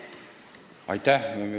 Aitäh!